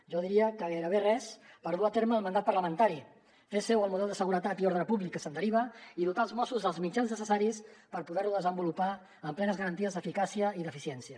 jo diria que gairebé res per dur a terme el mandat parlamentari fer seu el model de seguretat i ordre públic que se’n deriva i dotar els mossos dels mitjans necessaris per poder ho desenvolupar amb plenes garanties d’eficàcia i d’eficiència